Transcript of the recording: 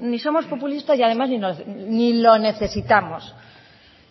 ni somos populistas y además ni lo necesitamos